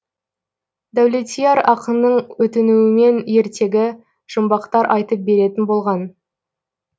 дәулетияр ақынның өтінуімен ертегі жұмбақтар айтып беретін болған